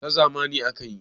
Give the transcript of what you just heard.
ta zamani aka yi